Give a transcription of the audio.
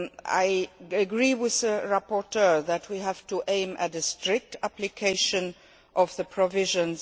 I agree with the rapporteur that we have to aim for a strict application of the provisions.